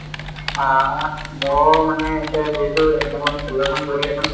অ মোৰ মানে এতিয়া যিহেতু exam অৰ কৰি আছো